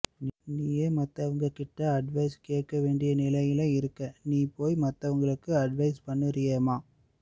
நீயே மத்தவங்க கிட்ட அட்வைஸ் கேட்கவேண்டிய நிலையில இருக்க நீ போய் மத்தவங்களுக்கு அட்வைஸ் பண்ணுறீயேம்மா